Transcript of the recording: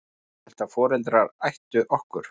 Ég hélt að foreldrar ættu okkur.